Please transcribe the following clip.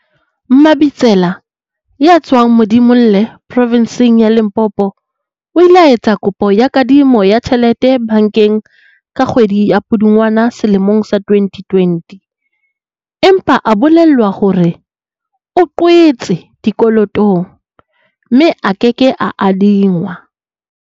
Mabitsela, ya tswang Modimolle provinseng ya Limpopo, o ile a etsa kopo ya kadimo ya tjhelete bankeng ka kgwedi ya Pudungwana selemong sa 2020, empa a bolellwa hore o qwetse dikolotong, mme a ke ke a adingwa.